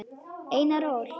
Einar Ól.